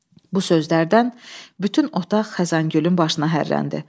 Bu sözlərdən bütün otaq Xəzəngülün başına hərləndi.